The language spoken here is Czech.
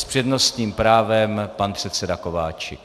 S přednostním právem pan předseda Kováčik.